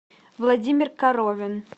владимир коровин